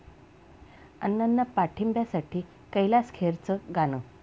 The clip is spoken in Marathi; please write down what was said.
अण्णांना पाठिंब्यासाठी कैलास खेरचं गाणं